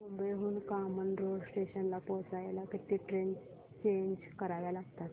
मुंबई हून कामन रोड स्टेशनला पोहचायला किती ट्रेन चेंज कराव्या लागतात